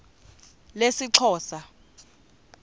lesixhosa